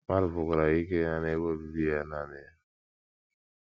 Mmadụ pụkwara ikiri ha n’ebe obibi ya nanị ya.